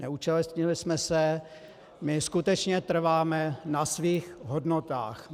Neúčastnili jsme se, my skutečně trváme na svých hodnotách.